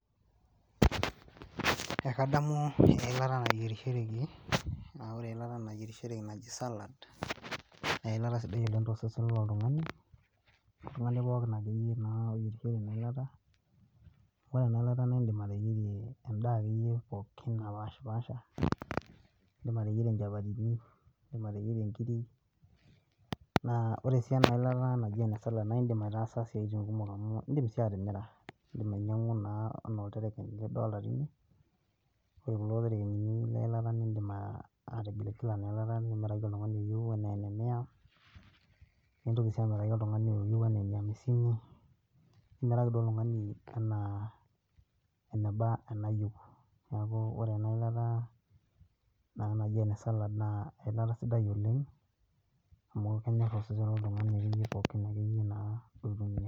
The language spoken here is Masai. Ekadamu eilata nayierishoreki, naa ore eilata nayierishoreki naji salad. Naa eilata sidai oleng to sesen lo oltung`ani, toltung`ani pookin ake yie naa oreyierishore ena ilata. Ore ena ilata naa idim ateyierie en`daa pokin pokin napaashipasha. Idim ateyierie nchapatini, idim ateyierie nkirik. Naa ore sii ena ilata naji salad, aitaasa isiatin kumok amu idim sii atimira. Idim ainyiang`u enaa naa oltereken lidolita tene ore kulo terekenini lena ilata idim atigilalagila ina ilata nimiraki oltung`ani liyieu ena ene mia. Nintoki sii amiraki enaa oltung`ani liyieu enaa ene hamsini. Nimiraki duo oltung`ani enaa eneba eniyieu, niaku ore ena ilata naji ene salad naa eilata sidai oleng amu kenyorr osesen loltung`ani akeyie pookin akeyie naa loitumia.